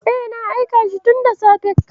E, na aika shi tunda safe.